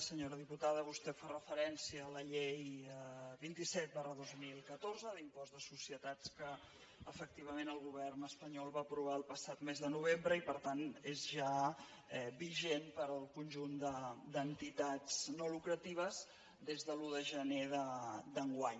senyora diputada vostè fa referència a la llei vint set dos mil catorze d’impost de societats que efectivament el govern espanyol va aprovar el passat mes de novembre i per tant és ja vigent per al conjunt d’entitats no lucratives des de l’un de gener d’enguany